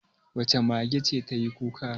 Wace mage ce ta yi kuka?